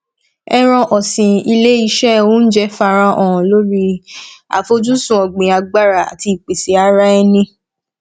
ẹran ọsin ilé iṣẹ ounjẹ farahàn lórí afojusun ọgbìn agbára àti ìpèsè ara ẹni